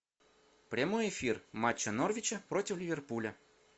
прямой эфир матча норвича против ливерпуля